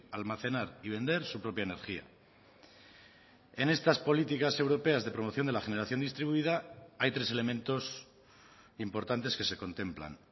almacenar y vender su propia energía en estas políticas europeas de promoción de la generación distribuida hay tres elementos importantes que se contemplan